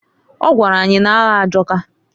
O gwara anyi na-aya ajọka.